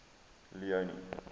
leone